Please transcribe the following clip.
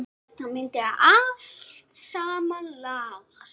Þetta myndi allt saman lagast.